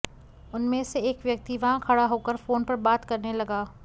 उनमें से एक व्यक्ति वहां खड़ा होकर फोन पर बात करने लगा